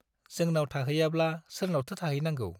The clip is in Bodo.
जोंनाव थाहैयाब्ला सोरनावथो थाहैनांगौ ?